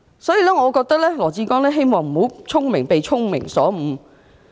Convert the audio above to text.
所以，我希望羅致光局長不會"聰明反被聰明誤"。